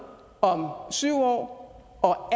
om syv år og